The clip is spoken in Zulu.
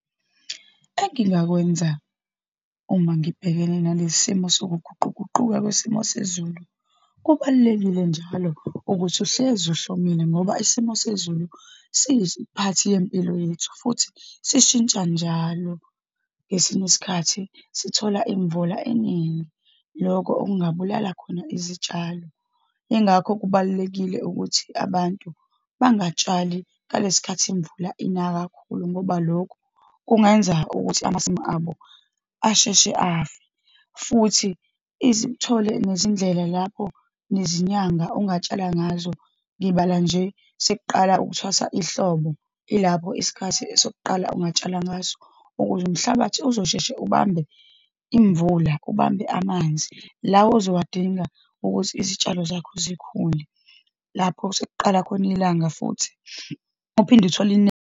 Engingakwenza uma ngibhekene nalesi simo sokuguquguquka kwesimo sezulu, kubalulekile njalo ukuthi uhlezi ihlomile ngoba isimo sezulu siyisiphathi yempilo yethu, futhi sishintsha njalo. Ngesinye isikhathi sithola imvula eningi, lokho okungabulala khona izitshalo. Yingakho kubalulekile ukuthi abantu bangatshali ngalesikhathi imvula ina kakhulu, ngoba lokhu kungayenza ukuthi amasimu abo asheshe afe. Futhi uthole nezindlela lapho, nezinyanga ongatshala ngazo, ngibala nje sekuqala ukuthwasa ihlobo, ilapho isikhathi esokuqala ungatshala ngaso, ukuze umhlabathi uzosheshe ubambe imvula, ubambe amanzi la ozowadinga ukuthi izitshalo zakho zikhule. Lapho sekuqala khona ilanga futhi uphinde uthole .